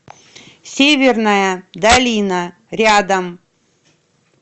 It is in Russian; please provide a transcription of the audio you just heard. северная долина рядом